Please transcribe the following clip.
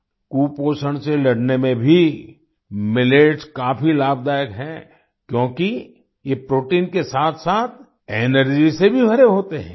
कुपोषण से लड़ने में भी मिलेट्स काफी लाभदायक हैं क्योंकि ये प्रोटीन के साथसाथ एनर्जी से भी भरे होते हैं